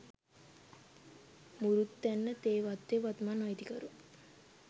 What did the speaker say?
මුරුත්තැන්න තේ වත්තේ වත්මන් අයිතිකරු